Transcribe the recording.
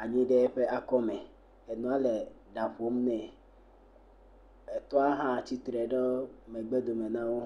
asi ɖe eƒe akɔme. Enoa le ɖa ƒom nɛ, etoa tsia tsi tre ɖe megbe do me nawo